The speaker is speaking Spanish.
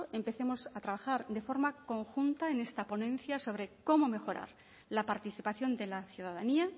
empecemos a trabajar de forma conjunta en esta ponencia sobre cómo mejorar la participación de la ciudadanía